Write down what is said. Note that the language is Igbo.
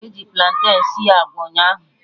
Eji platen sie agwa ụnyaahụ